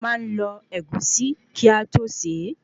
A máa n lọ Ẹ̀gúsí kí a tó se